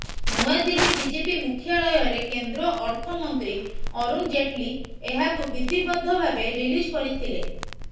ନୂଆଦିଲ୍ଲୀ BJP ମୁଖ୍ୟାଳୟରେ କେନ୍ଦ୍ର ଅର୍ଥ ମନ୍ତ୍ରୀ ଅରୁଣ ଜେଟଲୀ ଏହାକୁ ବିଧିବଦ୍ଧ ଭାବେ ରିଲିଜ୍ କରିଥିଲେ